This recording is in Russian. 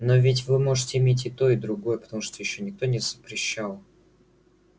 но ведь вы можете иметь и то и другое потому что ещё никто не запрещал